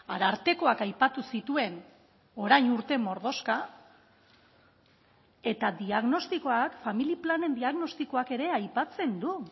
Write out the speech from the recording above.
arartekoak aipatu zituen orain urte mordoxka eta diagnostikoak familia planen diagnostikoak ere aipatzen du